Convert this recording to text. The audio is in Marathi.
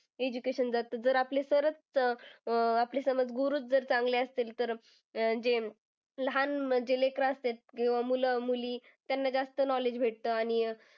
Education बाबतीत जर आपले sir च अं आपले समज गुरूच चांगले असतील, तर अं जे लहान जे लेकरे असत्यात किंवा मुलं मुली त्यांना जास्त knowledge भेटतं. आणि,